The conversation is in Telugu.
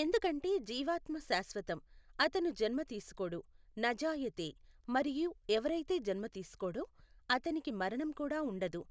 ఎందుకంటే జీవాత్మ శాశ్వతం, అతను జన్మ తీసుకోడు నజాయతే మరియు ఎవరైతే జన్మ తీసుకోడో అతనికి మరణం కూడా ఉండదు